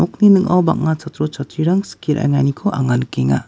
ning·ao bang·a chatro chatrirang anga skie ra·enganiko anga nikenga.